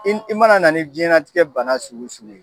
I mana na nin diɲɛnatigɛ bana sugu sugu ye